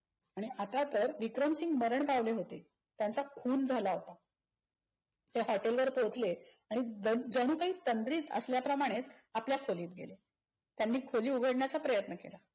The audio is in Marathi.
आणि आता तर विक्रमसिंग मरण पावले होते. त्यांचा खून झाला होता. ते hetol वर पोचले आणि जण जणू काही तंद्रीत असल्याप्रमाणे आपल्या खोलीत गेले. त्यांनी खोली उघडण्याचा प्रयत्न.